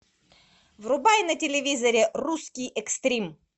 врубай на телевизоре русский экстрим